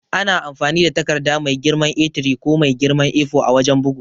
Ana amfani da takarda mai girman A3 ko mai girman A4 a wajan bugu.